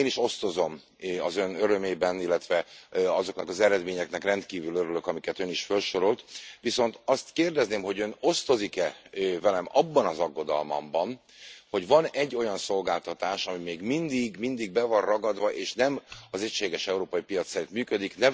Én is osztozom az Ön örömében, illetve azoknak az eredményeknek rendkívül örülök, amiket Ön is felsorolt, viszont azt kérdezném, hogy Ön osztozik e velem abban az aggodalmamban, hogy van egy olyan szolgáltatás, ami még mindig be van ragadva és nem az egységes európai piac szerint működik?